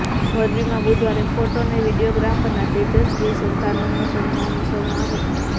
મોરબીમાં બુધવારે ફોટો અને વિડીયોગ્રાફરના તેજસ્વી સંતાનોનો સન્માન સમારોહ